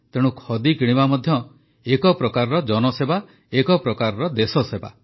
ତେଣୁ ଖଦି କିଣିବା ମଧ୍ୟ ଏକ ପ୍ରକାର ଜନସେବା ଏକ ପ୍ରକାର ଦେଶସେବା